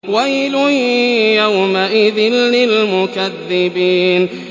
وَيْلٌ يَوْمَئِذٍ لِّلْمُكَذِّبِينَ